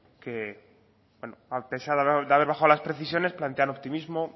que a pesar de haber bajado las precisiones plantea el optimismo